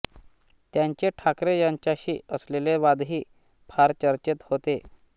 त्यांचे ठाकरे यांच्याशी असलेले वादही फार चर्चेत होते